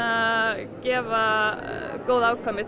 gefa góð afkvæmi til